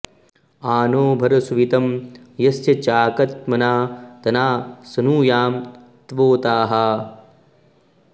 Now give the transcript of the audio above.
आ नो॑ भर सुवि॒तं यस्य॑ चा॒कन्त्मना॒ तना॑ सनुयाम॒ त्वोताः॑